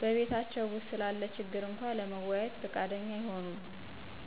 በቤታቸው ውስጥ ስላለ ችግር እንኳ ለመወያየት ፍቃደኛ አይሆኑም።